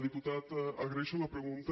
diputat agraeixo la pregunta